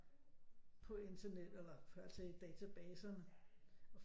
På internettet eller altså i databaserne